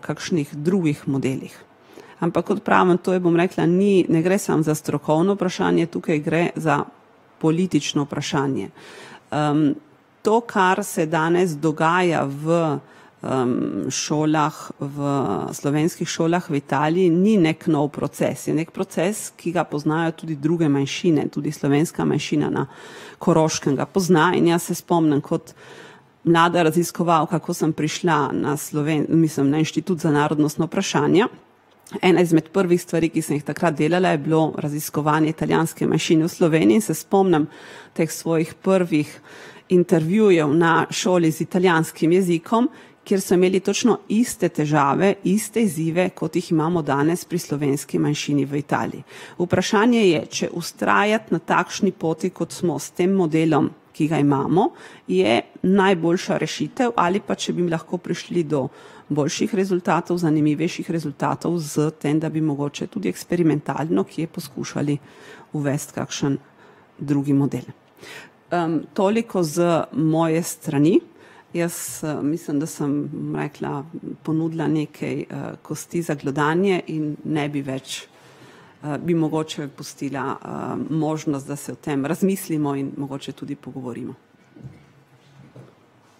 kakšnih drugih modelih. Ampak kot pravim, to je, bom rekla, ni, ne gre samo za strokovno vprašanje, tukaj gre za politično vprašanje. to, kar se danes dogaja v, šolah, v slovenskih šolah v Italiji, ni neki nov proces, je neki proces, ki ga poznajo tudi druge manjšine, tudi slovenska manjšina na Koroškem ga pozna, in jaz se spomnim kot mlada raziskovalka, ko sem prišla na mislim, na Inštitut za narodna vprašanja, ena izmed prvih stvari, ki sem jih takrat delala, je bilo raziskovanje italijanske manjšine v Sloveniji in se spomnim teh svojih prvih intervjujev na šoli z italijanskim jezikom, kjer so imeli točno iste težave, iste izzive, kot jih imamo danes pri slovenski manjšini v Italiji. Vprašanje je, če vztrajati na takšni poti, kot smo s tem modelom, ki ga imamo, je najboljša rešitev ali pa če bi lahko prišli do boljših rezultatov, zanimivejših rezultatov s tem, da bi mogoče tudi eksperimentalno kje poskušali uvesti kakšen drugi model. toliko z moje strani. Jaz, mislim, da sem, bom rekla, ponudila nekaj, kosti za glodanje in ne bi več, bi mogoče pustila, možnost, da se o tem razmislimo in mogoče tudi pogovorimo.